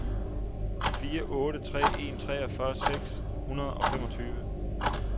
fire otte tre en treogfyrre seks hundrede og femogtyve